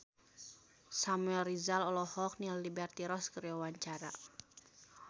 Samuel Rizal olohok ningali Liberty Ross keur diwawancara